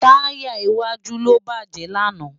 Tàyá iwàjú ló bájè làná